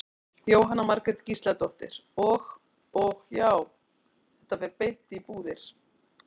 Jóhanna Margrét Gísladóttir: Og, og já, þetta fer beint í búðir?